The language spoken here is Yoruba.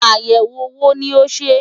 Àyẹ̀wò wo ni o ṣe?